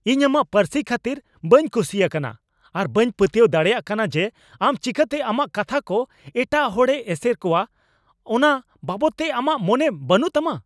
ᱤᱧ ᱟᱢᱟᱜ ᱯᱟᱹᱨᱥᱤ ᱠᱷᱟᱹᱛᱤᱨ ᱵᱟᱹᱧ ᱠᱩᱥᱤ ᱟᱠᱟᱱᱟ ᱟᱨ ᱵᱟᱹᱧ ᱯᱟᱹᱛᱭᱟᱹᱣ ᱫᱟᱲᱮᱭᱟᱜ ᱠᱟᱱᱟ ᱡᱮ ᱟᱢ ᱪᱤᱠᱟᱹᱛᱮ ᱟᱢᱟᱜ ᱠᱟᱛᱷᱟ ᱠᱚ ᱮᱴᱟᱜ ᱦᱚᱲᱮ ᱮᱥᱮᱨ ᱠᱚᱣᱟ ᱚᱱᱟ ᱵᱟᱵᱚᱫᱛᱮ ᱟᱢᱟᱜ ᱢᱚᱱᱮ ᱵᱟᱹᱱᱩᱜ ᱛᱟᱢᱟ ᱾